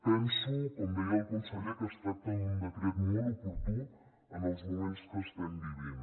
penso com deia el conseller que es tracta d’un decret molt oportú en els moments que estem vivint